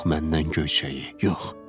Yox məndən göyçəyi, yox.